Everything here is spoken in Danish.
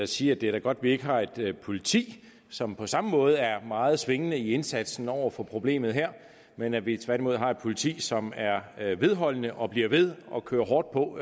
sige at det er godt at vi ikke har et politi som på samme måde er meget svingende i indsatsen over for problemet her men at vi tværtimod har et politi som er vedholdende og bliver ved og kører hårdt på